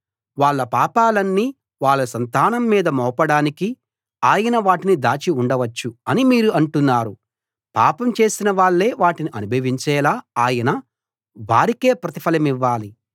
వాళ్ళ పాపాలన్నీ వాళ్ళ సంతానం మీద మోపడానికి ఆయన వాటిని దాచి ఉండవచ్చు అని మీరు అంటున్నారు పాపం చేసిన వాళ్లే వాటిని అనుభవించేలా ఆయన వారికే ప్రతిఫలమివ్వాలి